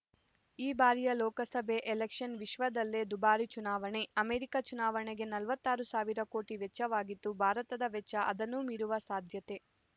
ಈ ಬಾರಿಯ ಲೋಕಸಭೆ ಎಲೆಕ್ಷನ್‌ ವಿಶ್ವದಲ್ಲೇ ದುಬಾರಿ ಚುನಾವಣೆ ಅಮೆರಿಕ ಚುನಾವಣೆಗೆ ನಲವತ್ತ್ ಆರು ಸಾವಿರ ಕೋಟಿ ವೆಚ್ಚವಾಗಿತ್ತು ಭಾರತದ ವೆಚ್ಚ ಅದನ್ನು ಮೀರುವ ಸಾಧ್ಯತೆ